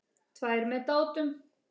Tvær með Dátum.